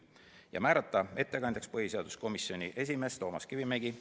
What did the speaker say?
Otsustati määrata ettekandjaks põhiseaduskomisjoni esimees Toomas Kivimägi.